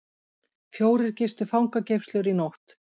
Fjórir gistu fangageymslur í nótt